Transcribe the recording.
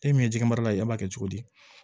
E min ye jɛgɛ mara la ye e b'a kɛ cogo di